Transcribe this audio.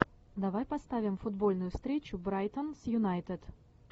давай поставим футбольную встречу брайтон с юнайтед